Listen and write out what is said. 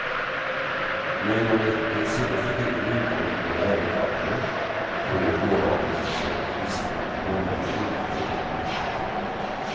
Men om det den senaste tiden inkommit några överklaganden igår beslut visste man på måndagen inte på departementet.